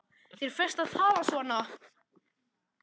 Þér ferst að tala svona!